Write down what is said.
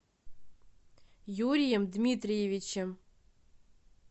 юрием дмитриевичем